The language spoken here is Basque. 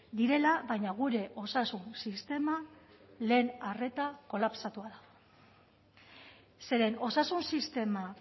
direla baina gure osasun sistema lehen arreta kolapsatua da zeren osasun sistema